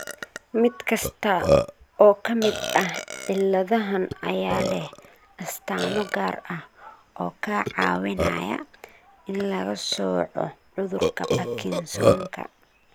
Mid kasta oo ka mid ah cilladahan ayaa leh astaamo gaar ah oo ka caawinaya in laga sooco cudurka Parkinsonka.